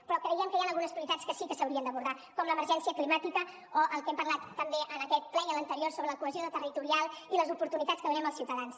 però creiem que hi han algunes prioritats que sí que s’haurien d’abordar com l’emergència climàtica o el que hem parlat també en aquest ple i en l’anterior sobre la cohesió territorial i les oportunitats que donem als ciutadans